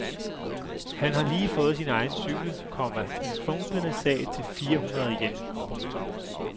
Han har lige fået sin egen cykel, komma en funklende sag til fire hundrede yen. punktum